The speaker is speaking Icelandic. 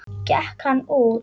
Gekk hann út.